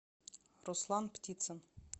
руслан птицын